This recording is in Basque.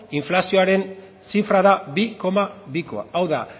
inflazioaren zifra da bi koma bikoa hau da